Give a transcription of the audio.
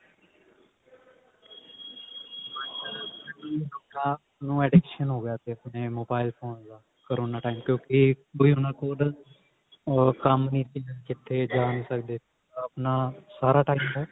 ਬੱਚਿਆਂ ਨੂੰ addiction ਹੋ ਗਿਆ ਸੀ ਆਪਣੇ mobile phone ਦਾ corona time ਕਿਉਂਕਿ ਉਹਨਾ ਕੋਲ ਉਹ ਕੰਮ ਨੀ ਸੀ ਕਿਤੇ ਜਾ ਨੀ ਸਕਦੇ ਸੀ ਆਪਣਾ ਸਾਰਾ time ਉਹ